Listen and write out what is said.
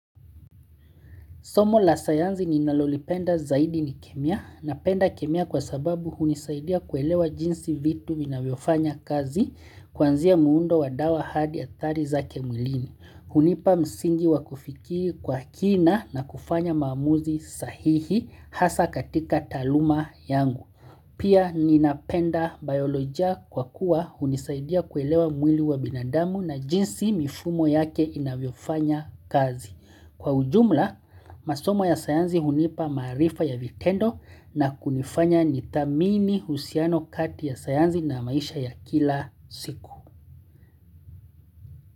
Somo la sayansi ninalolipenda zaidi ni kemia napenda kemia kwa sababu hunisaidia kuelewa jinsi vitu vinavyofanya kazi kuanzia muundo wa dawa hadi athari zake mwilini. Hunipa msingi wa kufikiria kwa kina na kufanya maamuzi sahihi hasa katika taaluma yangu. Pia ninapenda biolojia kwa kuwa hunisaidia kuelewa mwili wa binadamu na jinsi mifumo yake inavyofanya kazi. Kwa ujumla, masomo ya sayansi hunipa maarifa ya vitendo na kunifanya nithamini uhusiano kati ya sayansi na maisha ya kila siku.